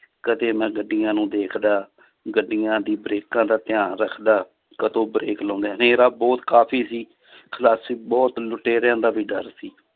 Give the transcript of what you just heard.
ਕਦੇ ਮੈਂ ਗੱਡੀਆਂ ਨੂੰ ਦੇਖਦਾ ਗੱਡੀਆਂ ਦੀ ਬਰੇਕਾਂ ਦਾ ਧਿਆਨ ਰੱਖਦਾ ਕਦੋਂ brake ਲਾਉਂਦੇ ਆ, ਹਨੇਰਾ ਬਹੁਤ ਕਾਫ਼ੀ ਸੀ ਬਹੁਤ ਲੁਟੇਰਿਆਂ ਦਾ ਵੀ ਡਰ ਸੀ